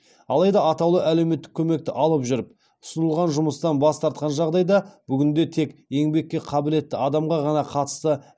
алайда атаулы әлеуметтік көмекті алып жүріп ұсынылған жұмыстан бас тартқан жағдайда бүгінде тек еңбекке қабілетті адамға ғана қатысты